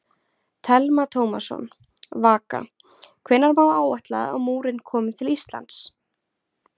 Telma Tómasson: Vaka, hvenær má áætla að múrinn komi til Íslands?